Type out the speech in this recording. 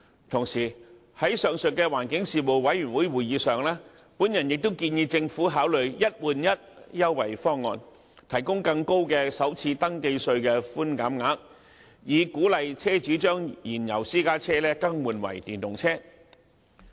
同時，在上述的環境事務委員會會議上，我亦建議政府考慮"一換一"優惠方案，提供更高的首次登記稅的寬減額，以鼓勵車主將燃油私家車更換為電動車。